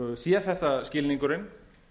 sé þetta skilningurinn